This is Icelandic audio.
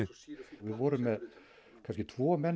við vorum með kannski tvo menn